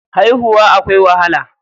Haihuwa akwai wahala.